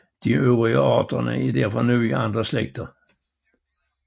De øvrige arter er derfor nu i andre slægter